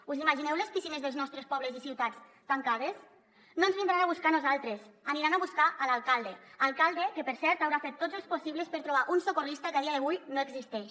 us imagineu les piscines dels nostres pobles i ciutats tancades no ens vindran a buscar a nosaltres aniran a buscar l’alcalde alcalde que per cert haurà fet tots els possibles per trobar un socorrista que a dia d’avui no existeix